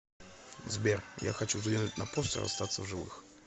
сбер я хочу взглянуть на постер остаться в живых